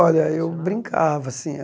Olha, eu brincava, sim.